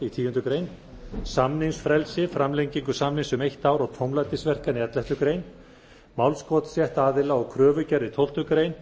í tíundu greinar samningsfrelsi framlengingu samnings um eitt ár og tómlætisverkan í elleftu greinar málskotsrétt aðila og kröfugerð í tólftu grein